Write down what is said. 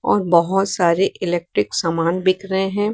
और बहोत सारे इलेक्ट्रिक सामान बिक रहे हैं।